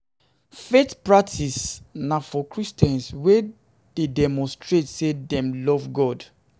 Faith practices na for Christians wey de demonstrate say dem love God